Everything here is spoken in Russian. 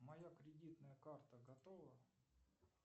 моя кредитная карта готова